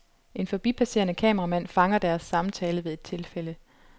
En forbipasserende kameramand fanger deres samtale ved et tilfælde.